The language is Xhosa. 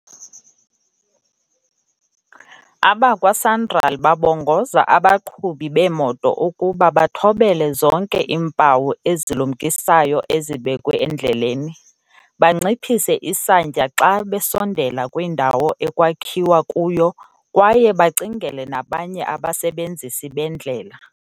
Abakwa-Sanral babongoza abaqhubi beemoto ukuba bathobele zonke iimpawu ezilumkisayo ezibekwe endleleni, banciphise isantya xa besondela kwindawo ekwakhiwa kuyo kwaye bacingele nabanye abasebenzisi bendlela.